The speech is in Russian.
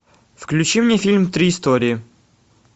включи мне фильм три истории